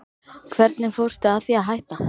Hvernig fórstu að því að hætta?